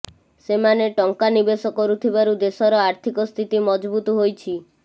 ସେମାନେ ଟଙ୍କା ନିବେଶ କରୁଥିବାରୁ ଦେଶର ଆର୍ଥିକ ସ୍ଥିତି ମଜବୁତ ହୋଇଛି